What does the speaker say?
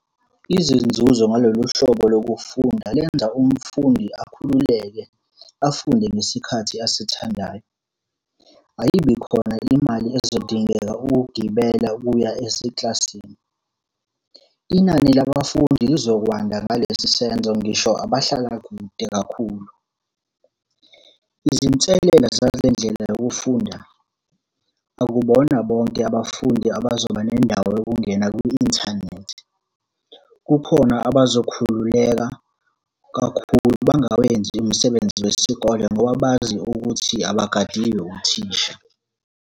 Izinzuzo ngalolu hlobo lokufunda lenza umfundi akhululeke afunde ngesikhathi asithandayo. Ayibi khona imali ezodingeka ukugibela ukuya esekilasini. Inani labafundi lizokwanda ngalesi senzo ngisho abahlala kude kakhulu. Izinselela zalendlela yokufunda, akubona bonke abafundi abazoba nendawo yokungena kwi-inthanethi. Kukhona abazokhululeka kakhulu bangawenzi umsebenzi wesikole ngoba bazi ukuthi abagadiwe uthisha.